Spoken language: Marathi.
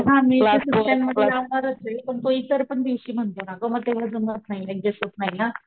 आता पहा मे च्या सुट्ट्यांमध्ये लावणारच ये पण तो इतर पण दिवशी म्हणतोय ना ग म तेव्हा जमत नाही ऍडजेस्ट होत नाही ना.